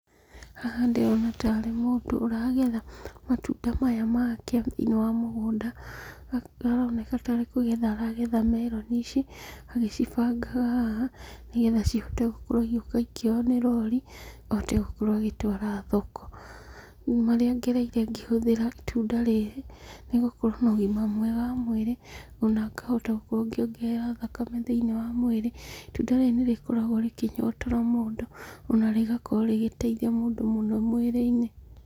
Haha ndĩrona ta arĩ mũndũ ũragetha matunda maya make thĩiniĩ wa mũgũnda. Aroneka tarĩ kũgetha aragetha meroni ici, agĩcibangaha haha, nĩgetha cihote gũkorwo igĩũka ikĩoywo nĩ rori, ahote gũkorwo agĩtwara thoko. Marĩa ngererire ngĩhũthĩra itunda rĩrĩ, nĩ gũkorwo na ũgima mwega wa mwĩrĩ, ona ngahota gũkorwo ngĩongerera thakame thĩiniĩ wa mwĩrĩ. Itunda rĩrĩ nĩ rĩkoragwo rĩkĩnyotora mũndũ, ona rĩgakorwo rĩgĩteithia mũndũ mũno mwĩrĩ-inĩ.